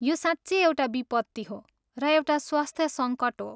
यो साँच्चै एउटा विपत्ति हो र एउटा स्वास्थ्य सङ्कट हो।